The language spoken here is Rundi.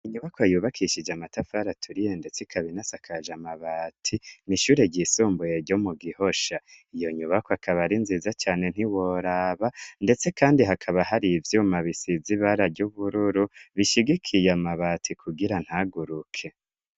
Inyubako yubakishije amatafari aturiye ndetse ikaba inasakaje amabati, n'ishure ry'isumbuyegyo mu gihosha ,iyo nyubakwa akaba ari nziza cane ntiworaba ,ndetse kandi hakaba hari ivyuma bisiz'irangi ry'ubururu bishigikiye amabati kugira ntaguruke.